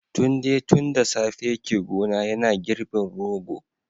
Tunde tun da safe yake gona yana girbin rogo